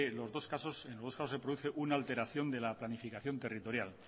los dos casos se produce una alteración de la planificación territorial